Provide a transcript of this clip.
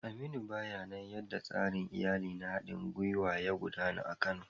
Aminu, bayyana yadda tsarin iyali na haɗin gwiwa ya gudana a Kano